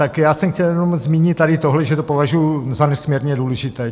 Tak já jsem chtěl jenom zmínit tady tohle, že to považuji za nesmírně důležité.